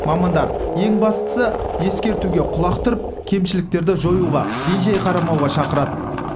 мамандар ең бастысы ескертуге құлақ түріп кемшіліктерді жоюға бей жай қарамауға шақырады